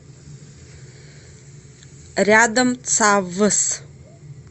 рядом цавс